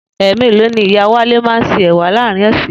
È̩mèlòó ni Ìyá Wálé má a ń se è̩wà láàárín ò̩sè̩?